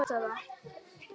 Það sé ykkar niðurstaða?